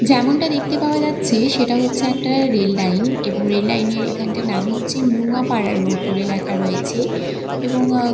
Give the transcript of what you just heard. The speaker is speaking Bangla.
যেমনটা দেখতে পাওয়া যাচ্ছে সেটা হচ্ছে একটা রেল লাইন এবং রেল লাইন -এর এখানটা নাম হচ্ছে নুয়াপাড়া রোড বলে লেখা রয়েছে এবং আ--